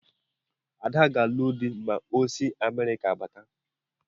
Ada ga-alụ dị ma o si Amerịka bata.